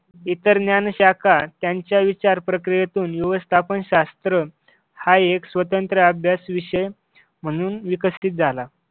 इतर ज्ञानशाखा त्यांच्या विचार प्रक्रियेतून व्यवस्थापन शास्त्र हा एक स्वतंत्र अभ्यास विषय म्हणून विकसित झाला.